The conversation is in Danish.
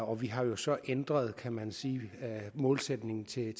og vi har jo så ændret kan man sige målsætningen til